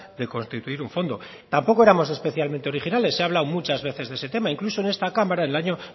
de constituir un fondo tampoco éramos especialmente originales se ha hablado muchas veces de ese tema incluso en esta cámara en el año